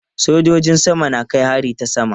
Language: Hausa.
Sojojin sama na kai hari ta sama.